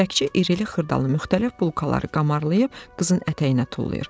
Çörəkçi iri-li-xırdalı müxtəlif bulkaları qamarlayıb qızın ətəyinə tullayır.